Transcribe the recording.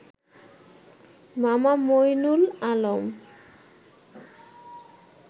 মামা মঈনুল আলম